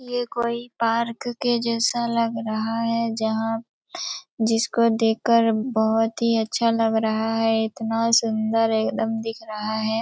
ये कोई पार्क के जैसा लग रहा है जहाँ जिसको देख कर बहोत ही अच्छा लग रहा है इतना सुन्दर एकदम दिख रहा है ।